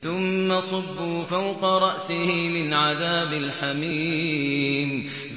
ثُمَّ صُبُّوا فَوْقَ رَأْسِهِ مِنْ عَذَابِ الْحَمِيمِ